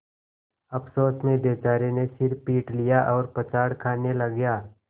अफसोस में बेचारे ने सिर पीट लिया और पछाड़ खाने लगा